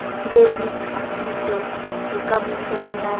be le tshitiso bokamosong ba